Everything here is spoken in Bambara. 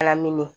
Alaminn